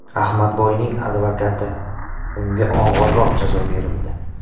Ahmadboyning advokati: Unga og‘irroq jazo berildi .